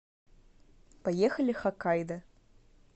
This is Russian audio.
поехали хоккайдо